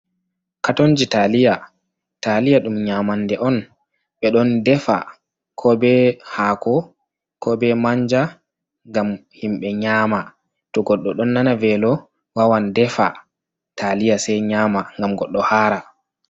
Katonji taliya taliya ɗum nyamande on, ɓe ɗon defa ko be haako, ko be manja, ngam himɓe nyama to goɗɗo ɗon nana velo wawan defa taliya sai nyama ngam goɗɗo hara.